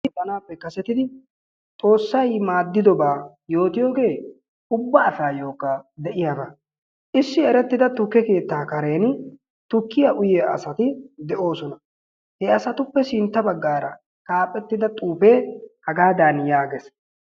Eqqanaappe kasettidi xoossay maaddiyoobaa yootiyoogee ubba asaayokka de'iyaaba. Issi erettida tukke keettaa kareeni tukkiyaa uyiyaa asati de"oosona. He asatuppe sintta baggaara xaafettida xuufee hagaadan yaagees.